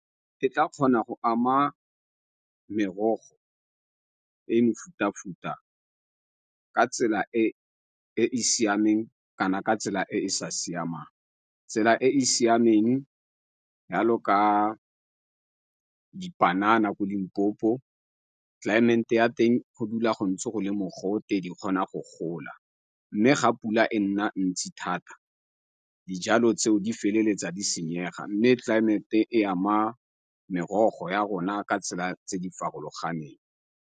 E ka kgona go ama merogo le mefuta-futa ka tsela e e siameng kana ka tsela e e sa siamang. Tsela e e siameng yalo ka dipanana ko Limpopo ya teng go dula go ntse go le mogote di kgona go gola. Mme ga pula e nna ntsi thata dijalo tseo di feleletsa di senyega mme tlelaemete e ama merogo ya rona ka tsela tse di farologaneng.